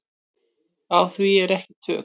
Á því eru ekki tök.